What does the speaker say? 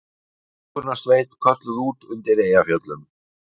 Björgunarsveit kölluð út undir Eyjafjöllum